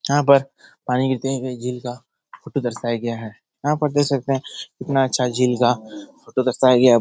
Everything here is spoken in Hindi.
यहाँ पर पानी गिरते हुए कोई झील का फोटो दर्शाया गया है यहाँ पर देख सकते हैं कितना अच्छा झील का फोटो दर्शाया गया --